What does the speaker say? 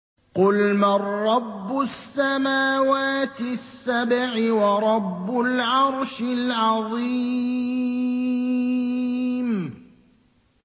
قُلْ مَن رَّبُّ السَّمَاوَاتِ السَّبْعِ وَرَبُّ الْعَرْشِ الْعَظِيمِ